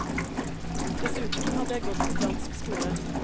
Dessuten hadde jeg gått på fransk skole.